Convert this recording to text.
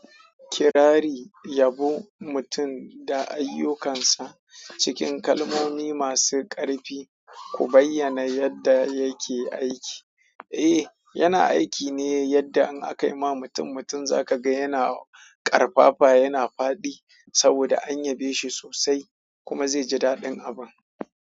Kirari yabon mutum don ayukkan sa cikin kalmomi masu ƙarfi, ku bayyana yadda yake aiki. Eh, yana aiki ne yadda in aka yi ma mutum mutum za ka ga yana ƙarfafa, yana faɗi saboda an yabe shi sosai kuma zai ji daɗin abun.